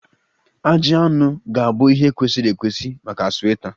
Ajị anụ ga-abụ ihe kwesịrị ekwesị maka sweta